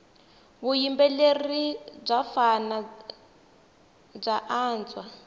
vuyimbeleri bya vafana bya antswa